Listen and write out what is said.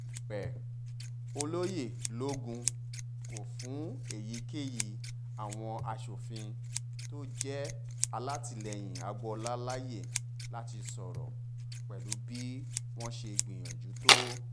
èwe ọ̀lẹyẹ̀lògún kò fún èyíkéyí àwọn asòfin tó jẹ́ alátìlẹyìn agboola láàyè láti sọ̀rọ̀ pẹ̀lú bí wọ́n ṣe gbìyànjú tó